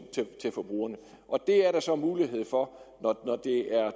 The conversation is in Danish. til forbrugerne det er der så mulighed for når